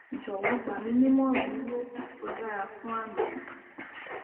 jowo gbaminimoran iru oogun ti o dara fun ami mi